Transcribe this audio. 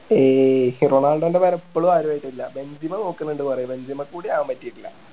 ഏയ് റൊണാൾഡോൻ്റെ പകരം ഇപ്പളും ആരും ആയിട്ടില്ല ബെഞ്ചിമ നോക്കുണുണ്ട് പറയുന്നു ബെഞ്ചിമക്ക് കൂടി ആകാൻ പറ്റിയിട്ടില്ല